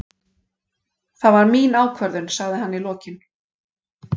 Það var mín ákvörðun, sagði hann í lokin.